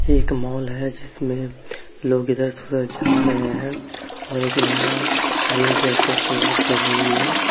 यह एक माल है जिसमें लोग इधर से उधर जा रहे हैं और एक महिला ग्रीन कलर का सलवार पहने हुए हैं।